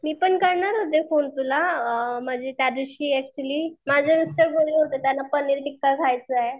मी पण करणार होते फोने तुला अअ म्हणजे त्या दिवशी अच्युअली माझे मिस्टर बोलले होते त्यांना पनीर टिक्का खायचाय.